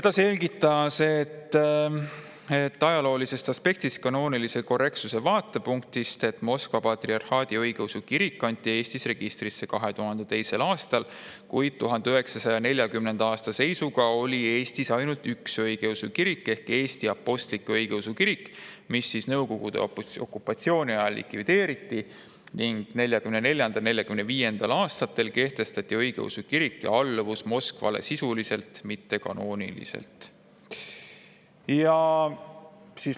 Ta selgitas ajaloolisest aspektist kanoonilise korrektsuse vaatepunktist, et Moskva Patriarhaadi Eesti Õigeusu Kirik kanti Eestis registrisse 2002. aastal, kuid 1940. aasta seisuga oli Eestis ainult üks õigeusu kirik ehk Eesti Apostlik-Õigeusu Kirik, mis Nõukogude okupatsiooni okupatsiooni ajal likvideeriti ning 1944. ja 1945. aastal kehtestati õigeusu kiriku alluvus Moskvale sisuliselt, mitte kanooniliselt.